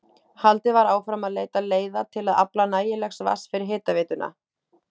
Haldið var áfram að leita leiða til að afla nægilegs vatns fyrir hitaveituna.